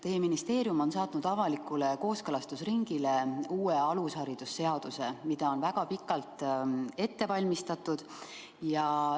Teie ministeerium on saatnud avalikule kooskõlastusringile uue alushariduse seaduse, mida on väga pikalt ette valmistatud.